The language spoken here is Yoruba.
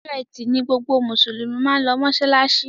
Ọjọ́ Ẹti ní gbogbo Musulumi mán ló masalasi.